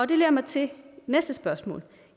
det leder mig til næste spørgsmål